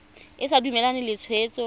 o sa dumalane le tshwetso